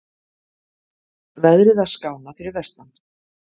Veðrið að skána fyrir vestan